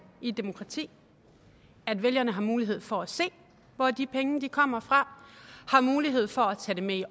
i et demokrati at vælgerne har mulighed for at se hvor de penge kommer fra og har mulighed for at tage det med i